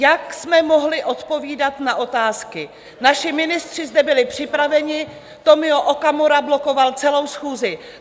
Jak jsme mohli odpovídat na otázky, naši ministři zde byli připraveni, Tomio Okamura blokoval celou schůzi.